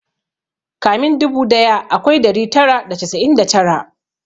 Kamin dubu daya akwai dari tara da casa'in da tara